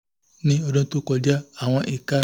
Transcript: ní ọdún tó kọjá àwọn ìka